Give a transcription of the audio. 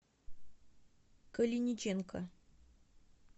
калиниченко